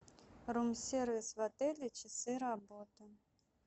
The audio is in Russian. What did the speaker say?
рум сервис в отеле часы работы